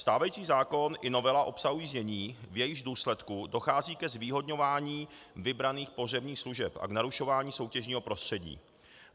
Stávající zákon i novela obsahují znění, v jejichž důsledku dochází ke zvýhodňování vybraných pohřebních služeb a k narušování soutěžního prostředí.